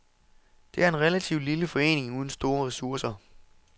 Det er en relativt lille forening uden store ressourcer.